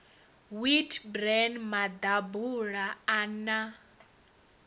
wheat bran maḓabula a na